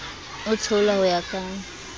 a theolwa ho ya ka